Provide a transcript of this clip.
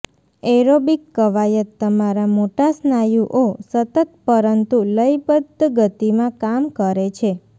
aerobic કવાયત તમારા મોટા સ્નાયુઓ સતત પરંતુ લયબદ્ધ ગતિમાં કામ કરે છે